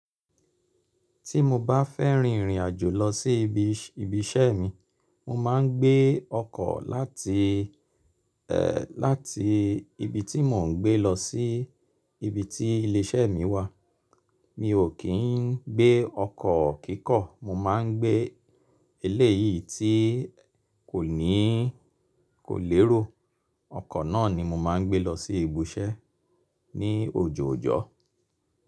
Tí mo bá fẹ́ rìnrìn àjò lọ sí ibi iṣẹ́ mi, mo máa ń gbé ọkọ̀ láti, ẹ, láti ibi tí mò ń gbé lọ sí ibi tí ilé iṣẹ́ mi wà. Mi ò kí ń gbé ọkọ̀ kíkọ̀, mo máa ń gbé eléyìí tí kò ní, kò lérò. Ọkọ̀ náà ni mo máa ń gbé lọ sí ibi iṣẹ́ ní ojoojọ́.